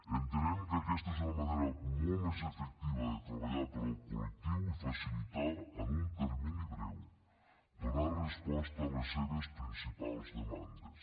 entenem que aquesta és una manera molt més efectiva de treballar per al col·lectiu i facilitar en un termini breu donar resposta a les seves principals demandes